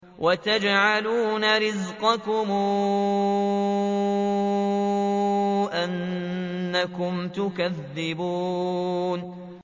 وَتَجْعَلُونَ رِزْقَكُمْ أَنَّكُمْ تُكَذِّبُونَ